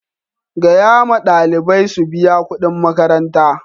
Gaya ma ɗalibai su biya kudin makaranta!